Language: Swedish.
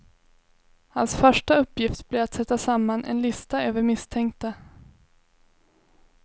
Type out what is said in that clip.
Hans första uppgift blir att sätta samman en lista över misstänkta.